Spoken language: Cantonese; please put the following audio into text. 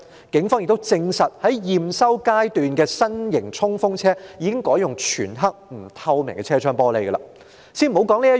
警方亦證實，在驗收階段的新型衝鋒車的車窗已改用全黑及不透明的玻璃。